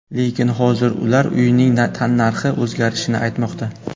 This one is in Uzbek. Lekin hozir ular uyning tannarxi o‘zgarishini aytmoqda.